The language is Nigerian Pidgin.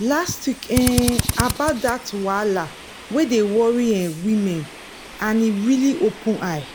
last week um about that wahala wey dey worry um women and e really open eye.